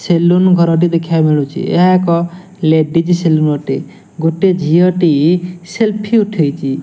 Salon ଘର ଦେଖି ବାକୁ ମିଳୁଛି ଏହା ଏକ ସେଲନୁ ଅଟେ ଗୋଟେ ଝିଅଟି ସେଲ୍ଫିଲ ଉଟେଛି ।